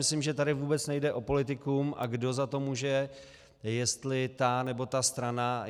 Myslím, že tady vůbec nejde o politikum, a kdo za to může, jestli ta, nebo ta strana.